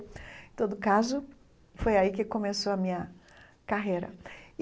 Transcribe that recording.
Em todo caso, foi aí que começou a minha carreira.